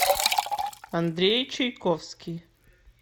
андрей чайковский